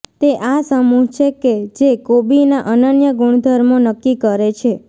તે આ સમૂહ છે કે જે કોબીના અનન્ય ગુણધર્મો નક્કી કરે છે